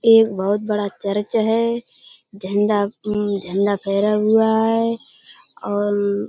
एक बहुत बडा चर्च है झंडा हम्म झंडा फहरा हुआ है। और --